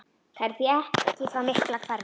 Það er því ekki frá miklu að hverfa.